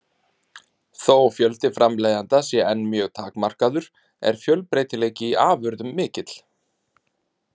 Þó fjöldi framleiðenda sé enn mjög takmarkaður er fjölbreytileiki í afurðum mikill.